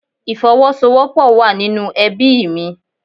Ìfowọ́sowọ́pọ̀ wá nínú ẹbíì mi.